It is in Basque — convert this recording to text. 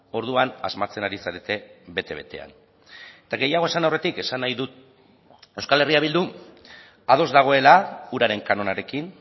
orduan asmatzen ari zarete bete betean eta gehiago esan aurretik esan nahi dut euskal herria bildu ados dagoela uraren kanonarekin